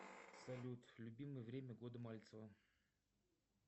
салют любимое время года мальцева